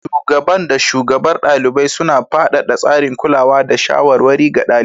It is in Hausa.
Shugaban da shugabar ɗalibai, suna shirin faɗaɗa tsarin kulawa da shawarwari ga ɗaliban.